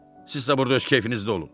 Sizsə burda öz keyfinizdə olun.